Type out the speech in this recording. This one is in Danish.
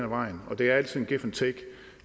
vejen og det er altid give and take